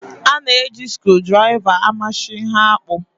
A na-eji skrudraịva amachi ihe akpụ.